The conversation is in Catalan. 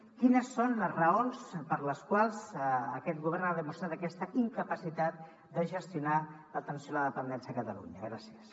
quines són les raons per les quals aquest govern ha demostrat aquesta incapacitat de gestionar l’atenció a la dependència a catalunya gràcies